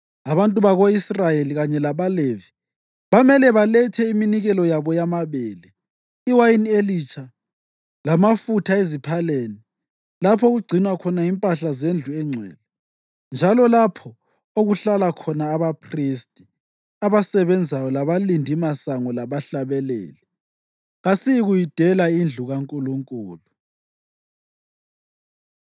Abantu bako-Israyeli, kanye labaLevi, bamele balethe iminikelo yabo yamabele, iwayini elitsha lamafutha eziphaleni lapho okugcinwa khona impahla zendlu engcwele, njalo lapho okuhlala khona abaphristi abasebenzayo labalindimasango labahlabeleli. “Kasiyikuyidela indlu kaNkulunkulu.”